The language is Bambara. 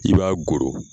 I b'a goro